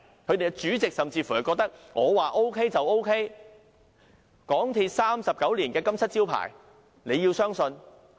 其主席甚至說，"我告訴 OK 就 OK， 港鐵公司39年的金漆招牌，你要相信"。